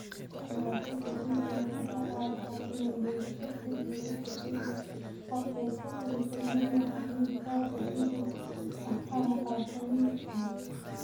Maaddada dabiiciga ahi waxay caawisaa inay dheellitirto pH-ga ciidda oo ay ka ilaaliso inay noqoto mid aad u acidic ah ama alkaline ah.